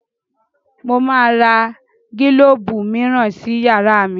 Mo máa ra gílóbù mìíràn sí yàrá mi